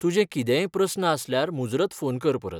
तुजे कितेंय प्रस्न आसल्यार मुजरत फोन कर परत.